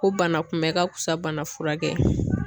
Ko banakunbɛ ka fisa bana furakɛ ye.